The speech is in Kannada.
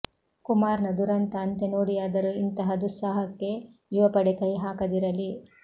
ಕುಮಾರ್ನ ದುರಂತ ಅಂತ್ಯ ನೋಡಿಯಾದರೂ ಇಂತಹ ದುಸ್ಸಾಹಸಕ್ಕೆ ಯುವಪಡೆ ಕೈ ಹಾಕದಿರಲಿ